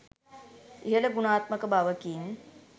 ඉහල ගුණාත්මක බවකින්